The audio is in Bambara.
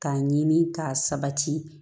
K'a ɲini k'a sabati